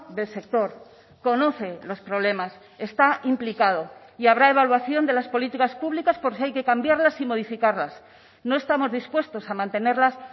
del sector conoce los problemas está implicado y habrá evaluación de las políticas públicas por si hay que cambiarlas y modificarlas no estamos dispuestos a mantenerlas